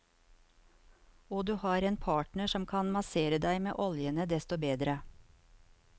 Og har du en partner som kan massere deg med oljene, desto bedre.